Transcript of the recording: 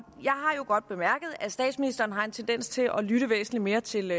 har godt bemærket at statsministeren har en tendens til at lytte væsentlig mere til